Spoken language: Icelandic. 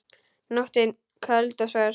Nóttin köld og svört.